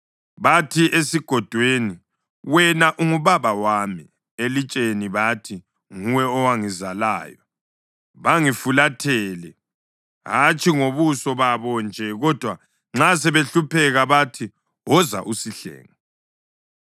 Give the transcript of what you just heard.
Bathi esigodweni, ‘Wena ungubaba wami,’ elitsheni bathi, ‘Nguwe owangizalayo.’ Bangifulathele, hatshi ngobuso babo nje; kodwa nxa sebehlupheka bathi, ‘Woza usihlenge.’